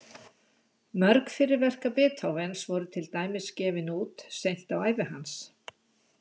Mörg fyrri verka Beethovens voru til dæmis gefin út seint á ævi hans.